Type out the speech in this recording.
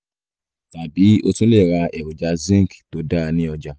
tàbí o tún lè ra èròjà zinc tó dáa ní ọjà